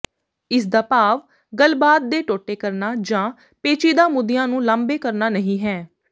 ਇਸ ਦਾ ਭਾਵ ਗੱਲਬਾਤ ਦੇ ਟੋਟੇ ਕਰਨਾ ਜਾਂ ਪੇਚੀਦਾ ਮੁੱਦਿਆਂ ਨੂੰ ਲਾਂਭੇ ਕਰਨਾ ਨਹੀਂ ਹੈ